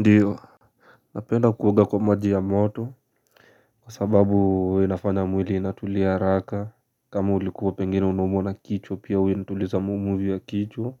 Ndiyo napenda kuoga kwa maji ya moto. Kwa sababu inafanya mwili inatulia haraka. Kama ulikua pengine unaumwa na kichwa pia we nituliza mumu vya kichwa.